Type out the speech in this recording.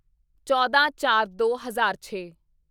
ਚੌਦਾਂਚਾਰਦੋ ਹਜ਼ਾਰ ਛੇ